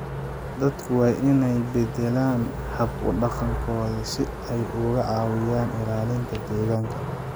Dadku waa inay beddelaan hab-dhaqankooda si ay uga caawiyaan ilaalinta deegaanka.